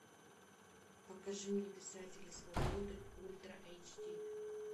покажи мне писателя свободы ультра эйч ди